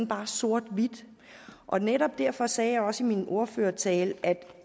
bare er sort hvidt og netop derfor sagde jeg også i min ordførertale at